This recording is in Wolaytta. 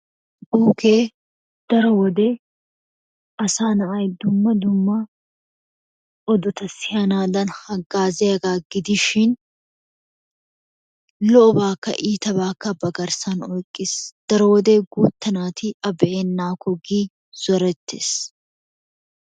Buukee daro wode asaa na'ay dumma dumma odota siyanaadan hagaaziyagaa gidishin lo'obaakka iittaabaa ba giddon oykkiis. Daro wode guuttaa nati a be'ennaakko giidi zoreettees.